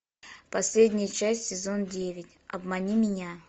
последняя часть сезон девять обмани меня